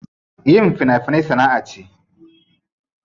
Yin fina finai sana'a ce.